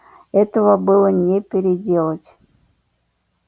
этого было не переделать